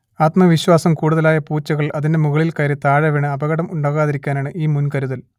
ആത്മവിശ്വാസം കൂടുതലായ പൂച്ചകൾ അതിന്റെ മുകളിൽ കയറി താഴെവീണ് അപകടം ഉണ്ടാകാതിരിക്കാനാണ് ഈ മുൻകരുതൽ